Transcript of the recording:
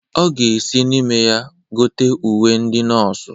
Ọ ga-esi n'ime ya gote uwe ndị nọọsụ.